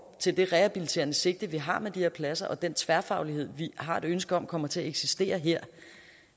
til det rehabiliterende sigte vi har med de her pladser og den tværfaglighed vi har et ønske om kommer til at eksistere her